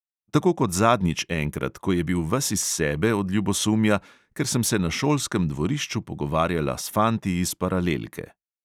Tako kot zadnjič enkrat, ko je bil ves iz sebe od ljubosumja, ker sem se na šolskem dvorišču pogovarjala s fanti iz paralelke.